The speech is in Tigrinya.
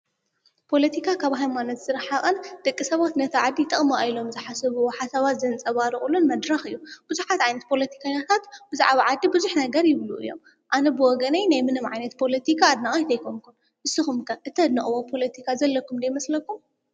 ፖሎቲካ ካብ ሃይማኖት ዝረሓቐን ደቂ ሰባት ነቲ ዓዲ ይጠቕማ ኢሎም ዝሓሰብ ሓሰባት ዘንጸባርቑሉን መድራኽ እዩ፡፡ ብዙሓት ዓይንት ፖሎቲካ ዓይነታት ብዛዕባ ዓዲ ብዙሕ ነገር ይብሉ እዮም፡፡ ኣነ ብወገነይ ናይ ምንም ዓይነት ፖሎቲካ ኣድናቒት ኣይኮንኩን፡፡ ንስኹም ከ እተድንቕዎ ፖሎቲካ ዘለኩም ዶ ይመስለኩም?